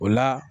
O la